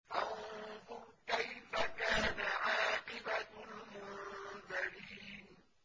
فَانظُرْ كَيْفَ كَانَ عَاقِبَةُ الْمُنذَرِينَ